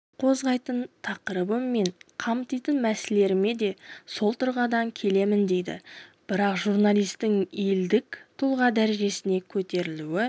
қозғайтын тақырыбым мен қамтитын мәселелеріме де сол тұрғыдан келемін дейді бірақ журналистің елдік тұлға дәрежесіне көтерілуі